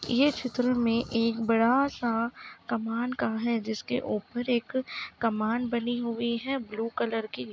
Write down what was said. ये चित्र मे एक बड़ा सा कमान का है जिसके ऊपर एक कमान बनी हुई है ब्लू कलर की।